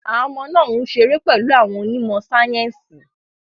Àwọn ọmọ náà ń ṣeré pẹ̀lú àwọn onímọ̀ sáyẹ́sì.